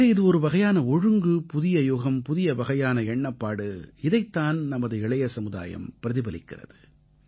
ஆக இது ஒருவகையான ஒழுங்கு புதியயுகம் புதிய வகையான எண்ணப்பாடு இதைத் தான் நமது இளைய சமுதாயம் பிரதிபலிக்கிறது